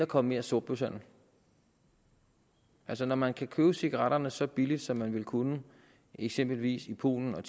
komme mere sortbørshandel altså når man kan købe cigaretterne så billigt som man vil kunne eksempelvis i polen og